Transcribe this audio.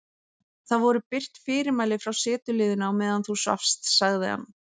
Það voru birt fyrirmæli frá setuliðinu á meðan þú svafst sagði hann.